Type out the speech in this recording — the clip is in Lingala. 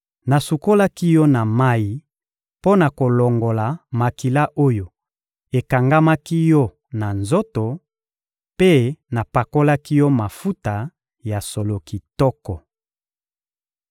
Nasukolaki yo na mayi mpo na kolongola makila oyo ekangamaki yo na nzoto, mpe napakolaki yo mafuta ya solo kitoko.